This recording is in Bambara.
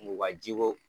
U ka jiko